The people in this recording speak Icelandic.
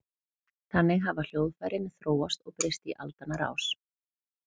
Þannig hafa hljóðfærin þróast og breyst í aldanna rás.